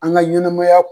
An ka ɲɛnɛmaya